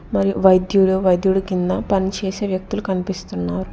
మరియు వైద్యులు వైద్యుడు కింద పనిచేసే వ్యక్తులు కనిపిస్తున్నారు.